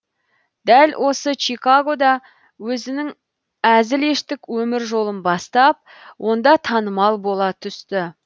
дәл осы чигагода өзінің әзілештік өмір жолын бастап онда танымал бола түсті